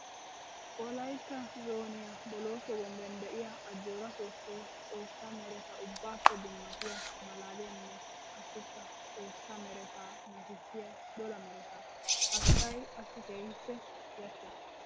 Wolaytta zooniya bolooso bombben de'iya ajjora soosoy xoosa meretta ubbaappe dummattiya malaaliyanne qassikka xoosa merette nashissiya dolla meretta. Ha kakkay qassi keehippe yashees.